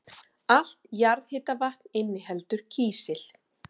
Allt jarðhitavatn inniheldur kísil.